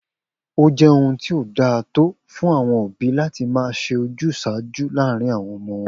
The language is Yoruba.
O jé ohun tí kò dáa tó fún àwo̩n òbí láti máa s̩e ojús̩àájú láàárín àwo̩n o̩mo̩ wo̩n